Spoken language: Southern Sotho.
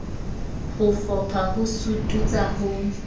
ho fopha ho sututsa ho